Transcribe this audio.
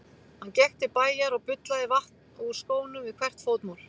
Hann gekk til bæjar og bullaði vatn úr skónum við hvert fótmál.